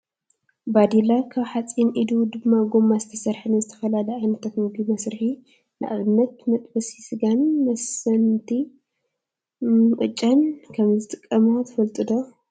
ባዴላ ካብ ሓፂን ኢዱ ድማ ጎማ ዝተሰረሐ ንዝተፈላለዩ ዓይነታት ምግቢ መስርሒ ንኣብነት መጥበሲ ስጋን መሰንገቲ ቅጫን ከም ዝተጥቀማ ትፈልጡ ዶ ?